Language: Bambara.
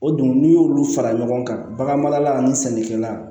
O dun n'i y'olu fara ɲɔgɔn kan bagan marala ani sɛnɛkɛla